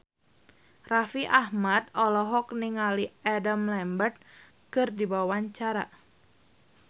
Raffi Ahmad olohok ningali Adam Lambert keur diwawancara